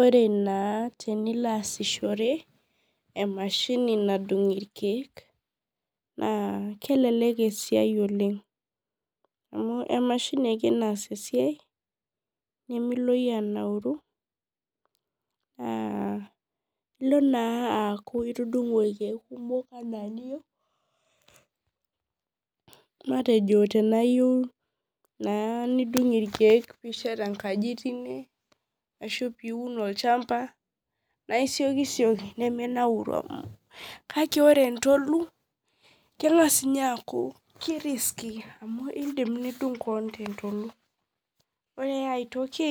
Ore na teniloaaiahore emashini nadung irkiek nakelek esiai oleng amu emashini ake naas esiaia nimilo anauru nilo naa aku itudungo rkiek kumok ana eniyeu matejo tanaa iyie nidung irkiek pishet enkaji tine ashu piun olchamba na isiekisieki nemiminauri kakebore entolu kengasa nye aku ke risky amu indim nidung keon tentolu ore aitoki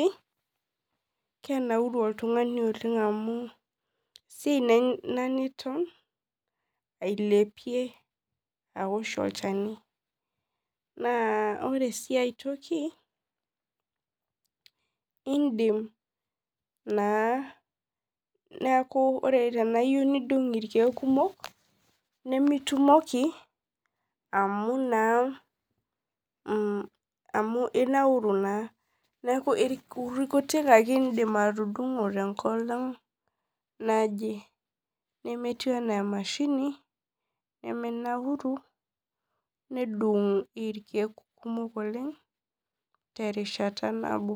kenauru oltungani amu ailepie aosh olchani na ore si aitoki indim naa aku tanaiyeu nidung irkiek kumok nimitumoki amu naa inauru na neaku irkutik ake indim atudungo tenkolong naje nemetiu ana emashini nemenauri nedung irkiek kumok oleng terishata nabo.